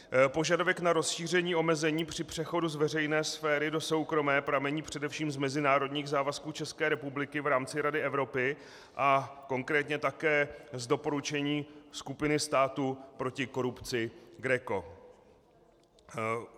Požadavek na rozšíření omezení při přechodu z veřejné sféry do soukromé pramení především z mezinárodních závazků České republiky v rámci Rady Evropy a konkrétně také z doporučení skupiny států proti korupci GRECO.